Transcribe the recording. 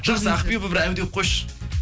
жақсы ақбибі бір әу деп қойшы